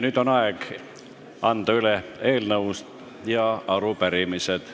Nüüd on aeg anda üle eelnõud ja arupärimised.